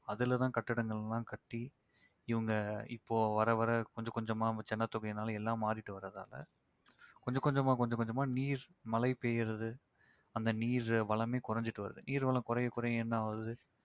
அதுல தான் கட்டிடங்கள்லாம் கட்டி இவங்க இப்போ வர வர கொஞ்ச கொஞ்சமா ஜனத்தொகைனால எல்லாம் மாறிட்டு வர்றதால கொஞ்ச கொஞ்சமா கொஞ்ச கொஞ்சமா நீர் மழை பெய்யறது அந்த நீர் வளமே குறைஞ்சுட்டு வருது. நீர் வளம் குறைய குறைய என்ன ஆவுது